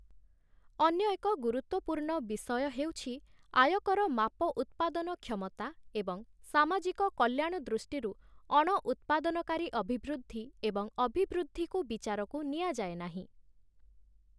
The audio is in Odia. ଅନ୍ୟ ଏକ ଗୁରୁତ୍ୱପୂର୍ଣ୍ଣ ବିଷୟ ହେଉଛି ଆୟକର ମାପ ଉତ୍ପାଦନ କ୍ଷମତା ଏବଂ ସାମାଜିକ କଲ୍ୟାଣ ଦୃଷ୍ଟିରୁ ଅଣ ଉତ୍ପାଦନକାରୀ ଅଭିବୃଦ୍ଧି ଏବଂ ଅଭିବୃଦ୍ଧିକୁ ବିଚାରକୁ ନିଆଯାଏ ନାହିଁ ।